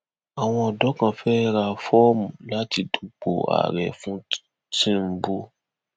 àwọn ọdọ kan fẹẹ ra fọọmù láti dúpọ àárẹ fún tìǹbù